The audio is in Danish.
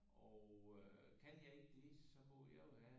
Og øh kan jeg ikke det så må jeg jo have